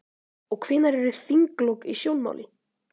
Og hvenær eru þinglok í sjónmáli?